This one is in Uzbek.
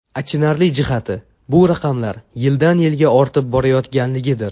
Achinarli jihati bu raqamlar yildan-yilga ortib borayotganligidir.